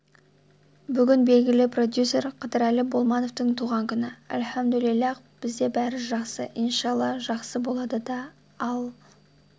бүгін белгілі продюсер қыдырәлі болмановтың туған күні әлхамдулиллах бізде барі жаксы иншалла жақсы болады да ал